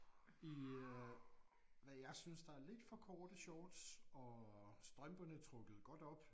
I øh hvad jeg synes der er lidt for korte shorts og strømperne trukket godt op